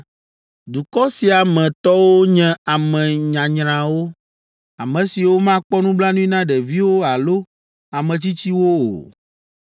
Dukɔ sia me tɔwo nye ame nyanyrawo, ame siwo makpɔ nublanui na ɖeviwo alo ame tsitsiwo o.